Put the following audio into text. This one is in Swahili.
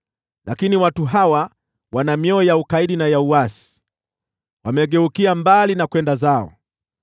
Lakini watu hawa wana mioyo ya ukaidi na ya uasi, wamegeukia mbali na kwenda zao.